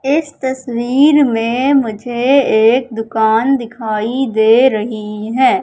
इस तस्वीर में मुझे एक दुकान दिखाई दे रही है।